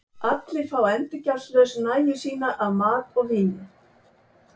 Allir fá endurgjaldslaust nægju sína af mat og víni.